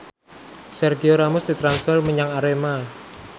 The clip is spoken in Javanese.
Sergio Ramos ditransfer menyang Arema